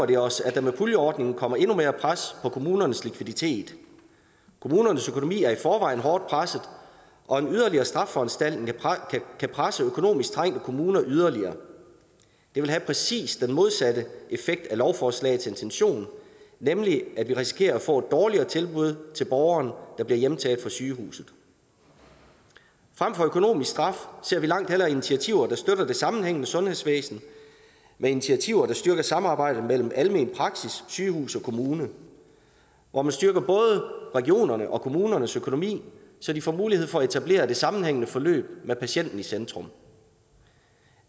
det os at der med puljeordningen kommer endnu mere pres på kommunernes likviditet kommunernes økonomi er i forvejen hårdt presset og en yderligere straffeforanstaltning kan presse økonomisk trængte kommuner yderligere det vil have præcis den modsatte effekt af lovforslagets intention nemlig at vi risikerer at få et dårligere tilbud til borgeren der bliver hjemtaget fra sygehuset frem for økonomisk straf ser vi langt hellere initiativer der støtter det sammenhængende sundhedsvæsen initiativer der styrker samarbejdet mellem almen praksis og sygehus og kommune hvor man styrker både regionernes og kommunernes økonomi så de får mulighed for at etablere et sammenhængende forløb med patienten i centrum